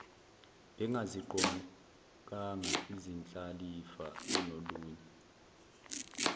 bengaziqokanga izindlalifa kunolunye